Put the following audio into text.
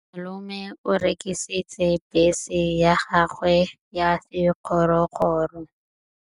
Malome o rekisitse bese ya gagwe ya sekgorokgoro.